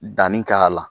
Danni k'a la